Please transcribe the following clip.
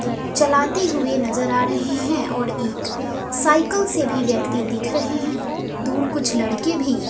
चलाते हुए नजर आ रहे है और इत साइकल से भी व्यक्ति दिख रहे हैं दूड़ कुछ लड़के भी--